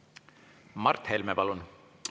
Mart Helme, palun!